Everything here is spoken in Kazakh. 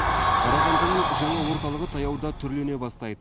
қарағандының жаңа орталығы таяуда түрлене бастайды